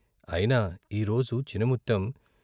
అయినా ఈ రోజు చినము త్తెం